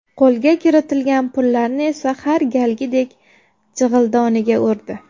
Qo‘lga kiritilgan pullarni esa har galgidek jig‘ildoniga urdi.